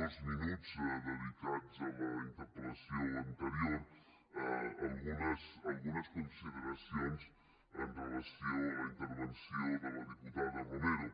dos minuts dedicats a la interpel·lació anterior algunes consideracions amb relació a la intervenció de la diputada romero